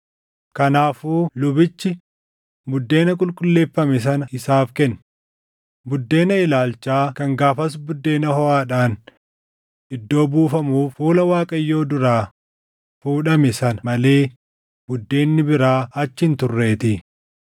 Kanaafuu lubichi buddeena qulqulleeffame sana isaaf kenne; buddeena ilaalchaa kan gaafas buddeena hoʼaadhaan iddoo buufamuuf fuula Waaqayyoo duraa fuudhame sana malee buddeenni biraa achi hin turreetii.